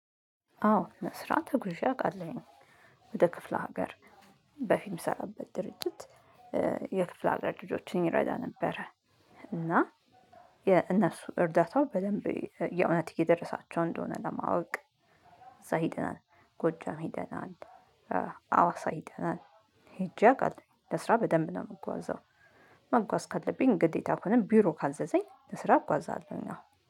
አዎ ለስራ ተጉዤ አውቃለሁኝ ወደ ክፍለ ሀገር በፊት የምሰራበት ድርጅት የክፍለ ሀገር ልጆችን ይረዳ ነበረ። እና የእነሱ እርዳታው በደንብ የእውነት እየደረሳቸው እንደሆነ ለማወቅ እዛ ሄደናል። ጎጃም ይደናል። አዋሳ ሄደናል። ሄጄ አውቃለሁ ለስራ በደንብ ነው የምጓዘው። መጓዝ ካለብኝ ግዴታ ከሆነ ቢሮ ካዘዘኝ ለስራ እጓዛለሁ አዎ